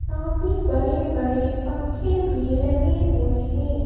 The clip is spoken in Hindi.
काफी बड़े-बड़े पंखे भी लगे हुए हैं।